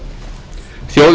það var